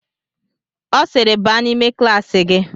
Ọ sịịrị baa n'ime klaasị gị!